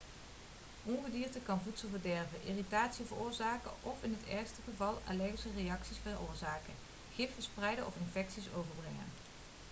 ongedierte kan voedsel verderven irritatie veroorzaken of in het ergste geval allergische reacties veroorzaken gif verspreiden of infecties overbrengen